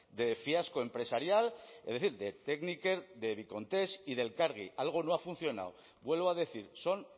de fiasco empresarial es decir de tekniker de bikontes y de elkargi algo no ha funcionado vuelvo a decir son